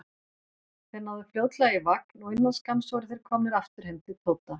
Þeir náðu fljótlega í vagn og innan skamms voru þeir komnir aftur heim til Tóta.